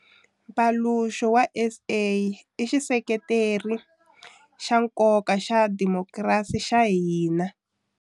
Mpaluxo wa SA i xiseketeri xa nkoka xa dimokirasi xa hina.